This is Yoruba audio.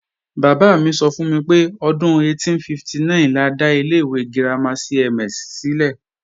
Bàbá mi sọ fún mi pé, ọdún 1859 la dá ilé ìwé girama CMS sílẹ̀